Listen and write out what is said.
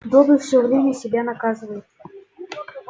добби все время себя наказывает